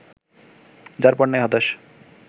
যারপরনাই হতাশ